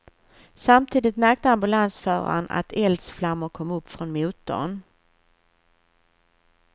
Samtidigt märkte ambulansföraren att eldsflammor kom upp från motorn.